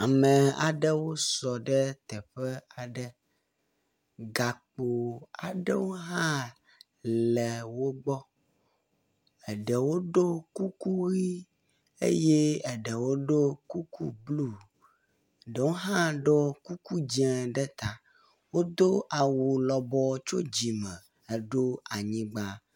Ame aɖewo sɔ ɖe teƒe aɖe. Gakpo aɖewo hã le wo gbɔ, eɖewo ɖo kuku ʋɛ̃ eye eɖewo hã ɖo kuku blu, eɖewo hã ɖo kuku dze ɖe ta. Wodo awu lɔbɔ tso dzime heɖo anyigba.